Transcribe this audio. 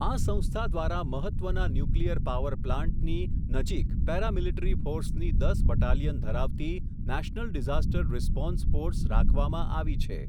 આ સંસ્થા દ્વારા મહત્ત્વના ન્યુક્લિયર પાવર પ્લાન્ટની, નજીક પેરામિલીટરી ફોર્સની દસ બટાલિયન ધરાવતી નેશનલ ડિઝાસ્ટર રિસ્પોન્સ ફોર્સ, રાખવામાં આવી છે.